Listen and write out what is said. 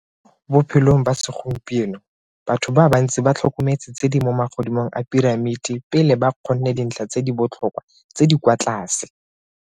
Mo bophelong ba segompieno, batho ba bantsi ba tlhokometse tse di mo magodimong a piramiti pele ba kgonne dintlha tse di botlhokwa tse di kwa tlase.